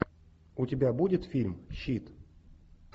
у тебя будет фильм щит